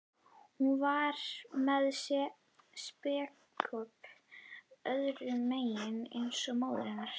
Hún var með spékopp öðrum megin eins og móðir hennar.